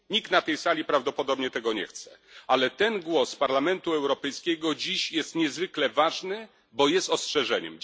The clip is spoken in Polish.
Nikt na tej sali prawdopodobnie tego nie chce, ale ten głos Parlamentu Europejskiego dziś jest niezwykle ważny, bo jest ostrzeżeniem.